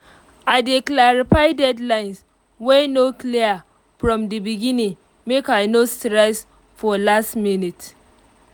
i dey clarify deadlines wey no clear from the beginning make i no stress for last minutes